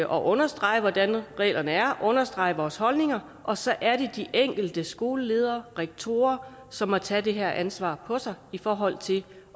understrege hvordan reglerne er understrege vores holdninger og så er det de enkelte skoleledere rektorer som må tage det her ansvar på sig i forhold til